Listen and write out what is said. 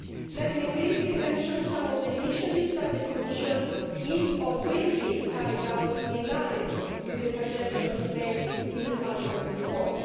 Let me briefly mention some of the initiatives that the Commission is, or will, be carrying out in line with the suggestions made in Parliament's report.